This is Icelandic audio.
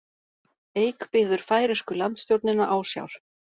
Eik biður færeysku landstjórnina ásjár